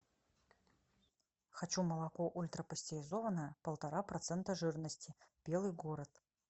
хочу молоко ультрапастеризованное полтора процента жирности белый город